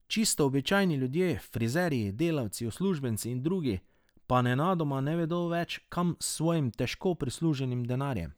Čisto običajni ljudje, frizerji, delavci, uslužbenci in drugi, pa nenadoma ne vedo več, kam s svojim težko prisluženim denarjem.